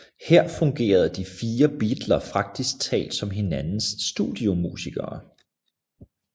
Her fungerede de fire beatler praktisk talt som hinandens studiomusikere